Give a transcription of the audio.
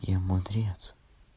я мудрец